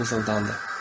O mızıldandı.